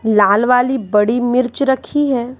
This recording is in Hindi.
लाल वाली बड़ी मिर्च रखी है।